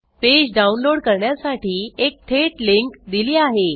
page download करण्यासाठी एक थेट लिंक दिली आहे